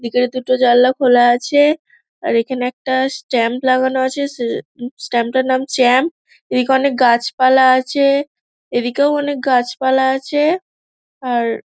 ভিতরের দুটো জানলা খোলা আছে। আর এখানে একটা স্ট্যাম্প লাগানো আছে। সে স্ট্যাম্প -টার নাম চাম্পি । এদিকে অনেক গাছপালা আছে এদিকেও অনেক গাছপালা আছে। আর--